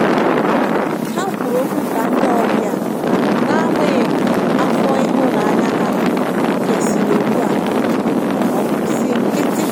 ha kwụrụ ọkwụ ka ndi ọbian'agbanyeghi afọ ihunanya ha kesịrị ugbu a ọbụ si nkitị